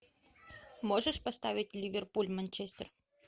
можешь поставить ливерпуль манчестер